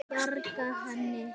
Bjarga henni?